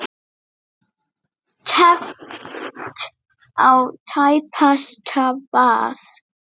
Teflt á tæpasta vað.